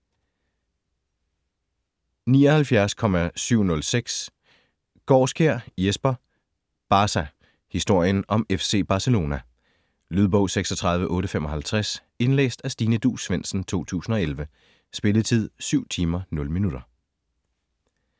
79.706 Gaarskjær, Jesper: Barca: historien om FC Barcelona Lydbog 36855 Indlæst af Stine Duus Svendsen, 2011. Spilletid: 7 timer, 0 minutter.